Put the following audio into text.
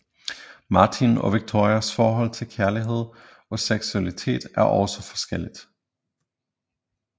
Martin og Victorias forhold til kærlighed og seksualitet er også forskelligt